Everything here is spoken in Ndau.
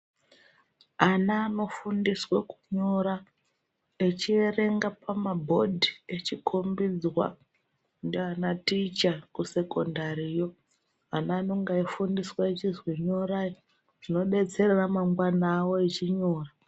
Ana anofundiswe kunyora achiverenga pamabhodhi achikombidzwa ndiana ticha kusekondariyo .Ana anenge aifundiswa achizi nyorai zvinodetsera mangwana avo vachinyora.